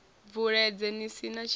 bvuledze ni si na tshilavhi